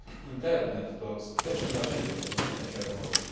Internet to skuteczne narzędzie podnoszenia świadomości.